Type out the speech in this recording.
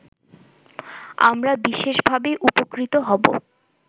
আমরা বিশেষভাবে উপকৃত হব